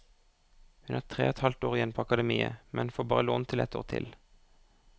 Hun har tre og et halvt år igjen på akademiet, men får bare lån til ett år til.